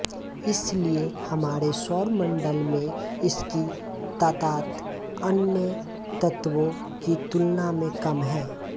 इसलिये हमारे सौर मंडल में इसकी तादाद अन्य तत्वों की तुलना में कम है